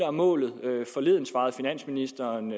er målet og forleden svarede finansministeren